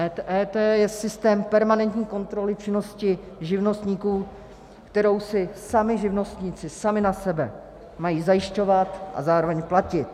EET je systém permanentní kontroly činnosti živnostníků, kterou si sami živnostníci sami na sebe mají zajišťovat a zároveň platit.